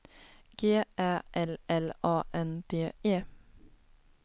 G Ä L L A N D E